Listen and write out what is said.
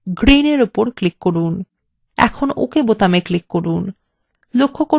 এখন ok button click করুন